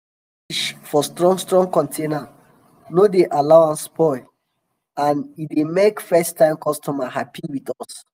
to pack fish for strong strong container no dey allow am spoil and e dey make first time customers happy with us.